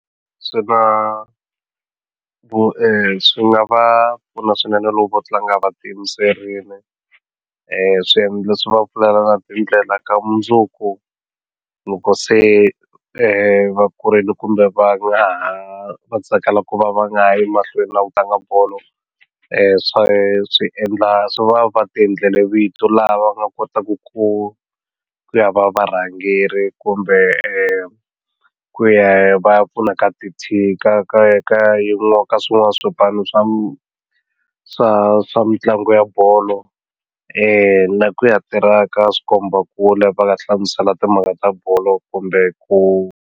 Swi na swi nga va pfuna swinene loko va tlanga va tiyimiserile swi va pfulela tindlela ta mundzuku loko se va kurile kumbe va nga ha va tsakela ku va va nga yi emahlweni na ku tlanga bolo swa swi endla swi va va ti endlele vito lava nga kotaku ku ya va varhangeri kumbe ku ya va ya pfuna ka ti ka ka ka ka ka swin'wana swipano swa swa swa mitlangu ya bolo na ku ya tirha ka swikombakule va nga hlamusela timhaka ta bolo kumbe ku.